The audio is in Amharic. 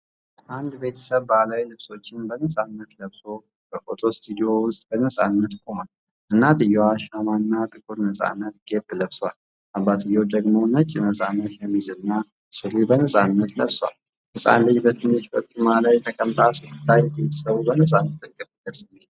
አንድ ቤተሰብ ባህላዊ ልብሶችን በነፃነት ለብሶ በፎቶ ስቱዲዮ ውስጥ በነፃነት ቆሟል። እናትየው ሻማ እና ጥቁር ነፃነት ኬፕ ለብሰዋል፤ አባትየው ደግሞ ነጭ ነፃነት ሸሚዝና ሱሪ በነፃነት ለብሰዋል። ህፃን ልጅ ትንሽ በርጩማ ላይ ተቀምጣ ስትታይ ቤተሰቡ በነፃነት ጥልቅ ስሜት ያንፀባርቃል።